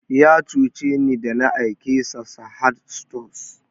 Ya cuce ni da na aike sa Sahad stores